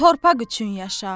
bu torpaq üçün yaşa.